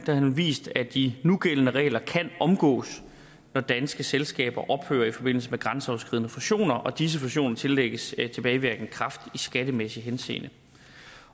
har vist at de nugældende regler kan omgås når danske selskaber ophører i forbindelse med grænseoverskridende fusioner og disse fusioner tillægges tilbagevirkende kraft i skattemæssig henseende